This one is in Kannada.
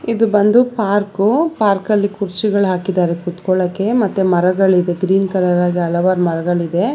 ಇದು ಬಂದು ಪಾರ್ಕ್ ಪಾರ್ಕ್ ಅಲ್ಲಿ ಕುರ್ಚಿಗಳು ಹಾಕಿದ್ದಾರೆ ಕೂತ್ಕೊಳ್ಳೋಕೆ ಮತ್ತೆ ಮರಗಳಿದೆ ಗ್ರೀನ್ ಕಲರ್ ಹಾಗಿ ಹಲವಾರು ಮರಗಳಿದೆ.